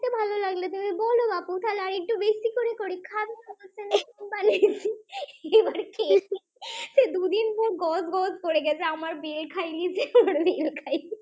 বানিয়েছি এবার খেয়েছে। হি হি দুদিন ধরে গজ করে গেছে আমার বেল খাইছে বেল খাইছে